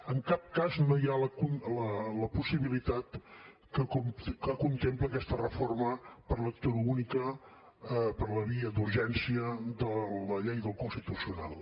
en cap cas no hi ha la possibilitat que contempla aquesta reforma per lectura única per la via d’urgència de la llei del constitucional